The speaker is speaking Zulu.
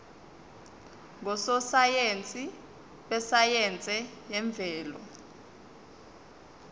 ngososayense besayense yemvelo